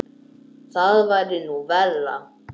Það væri nú verra.